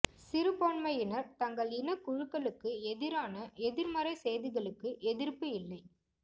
சிறுபான்மையினர் தங்கள் இனக் குழுக்களுக்கு எதிரான எதிர்மறை செய்திகளுக்கு எதிர்ப்பு இல்லை